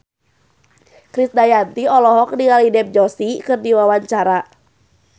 Krisdayanti olohok ningali Dev Joshi keur diwawancara